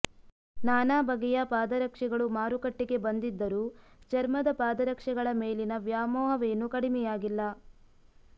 ನಾನಾ ಬಗೆಯ ಪಾದರಕ್ಷೆಗಳು ಮಾರುಕಟ್ಟೆಗೆ ಬಂದಿದ್ದರೂ ಚರ್ಮದ ಪಾದರಕ್ಷೆಗಳ ಮೇಲಿನ ವ್ಯಾಮೋಹವೇನೂ ಕಡಿಮೆಯಾಗಿಲ್ಲ